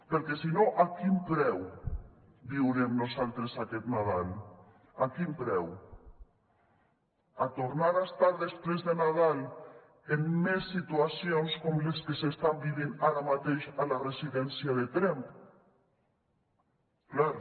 perquè si no a quin preu viurem nosaltres aquest nadal a quin preu a tornar a estar després de nadal en més situacions com les que s’estan vivint ara mateix a la residència de tremp clar